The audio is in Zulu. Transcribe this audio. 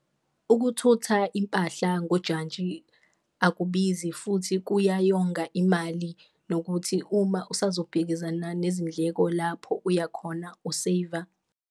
Ukuthutha impahla ngojantshi akubizi futhi kuyayonga imali nokuthi uma usazobhekezana nezindleko lapho uyakhona u-save-a.